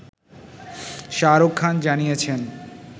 শাহরুখ খান জানিয়েছেন